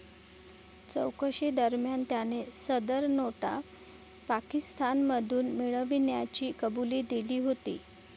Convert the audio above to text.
चौकशीदरम्यान त्याने सदर नोटा पाकिस्तानमधून मिळविल्याची कबुली दिली होती.